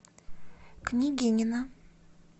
княгинино